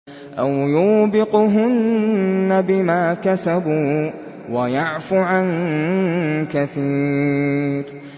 أَوْ يُوبِقْهُنَّ بِمَا كَسَبُوا وَيَعْفُ عَن كَثِيرٍ